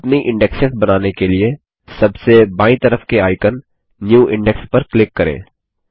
अपनी इंडेक्स बनाने के लिए सबसे बायीं तरफ के आइकन न्यू इंडेक्स पर क्लिक करें